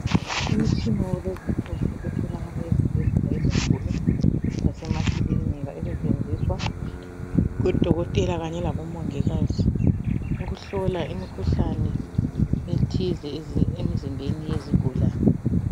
Imitshina yakulezi insuku etholakala ezibhedlela ezinkulu lasemakilinika esetshenziswa ngodokotela kanye labomongikazi ukuhlola imikhuhlane ethize emzimbeni yezigulane.